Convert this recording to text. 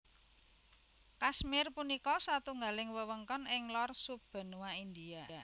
Kashmir punika satunggaling wewengkon ing lor sub benua India